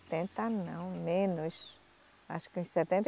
não, menos. Acho que uns setenta